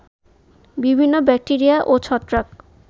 বিভিন্ন ব্যাক্টেরিয়া ও ছত্রাক